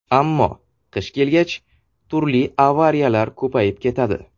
Ammo qish kelgach, turli avariyalar ko‘payib ketadi.